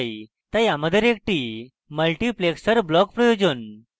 তাই আমাদের একটি multiplexer block প্রয়োজন